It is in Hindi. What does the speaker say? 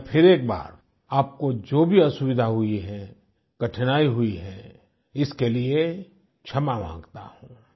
मैं फिर एक बार आपको जो भी असुविधा हुई है कठिनाई हुई है इसके लिए क्षमा मांगता हूँ